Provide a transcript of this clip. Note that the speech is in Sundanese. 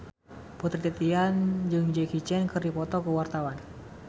Putri Titian jeung Jackie Chan keur dipoto ku wartawan